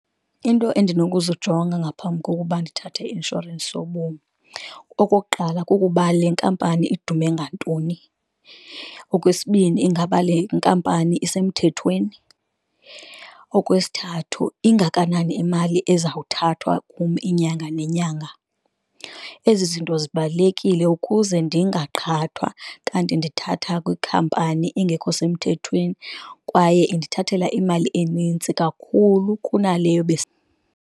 Iinto endinokuzijonga ngaphambi kokuba ndithathe i-inshorensi yobomi, okokuqala kukuba le nkampani idume ngantoni. Okwesibini, ingaba lenkampani isemthethweni okwesithathu ingakanani imali ezawuthathwa kum inyanga nenyanga. Ezi zinto zibalulekile ukuze ndingaqhathwa kanti ndithatha kwikhampani engekho semthethweni kwaye indithathela imali enintsi kakhulu kunaleyo .